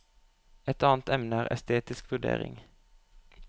Et annet emne er estetisk vurdering.